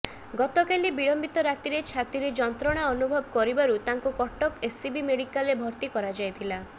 ଗତକାଲି ବିଳମ୍ବିତ ରାତିରେ ଛାତିରେ ଯନ୍ତ୍ରଣା ଅନୁଭବ କରିବାରୁ ତାଙ୍କୁ କଟକ ଏସ୍ସିବି ମେଡିକାଲରେ ଭର୍ତ୍ତି କରାଯାଇଥିଲା